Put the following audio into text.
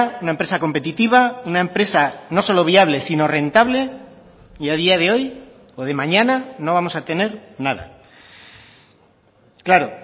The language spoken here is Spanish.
una empresa competitiva una empresa no solo viable sino rentable y a día de hoy o de mañana no vamos a tener nada claro